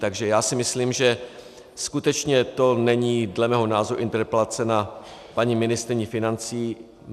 Takže já si myslím, že skutečně to není dle mého názoru interpelace na paní ministryni financí.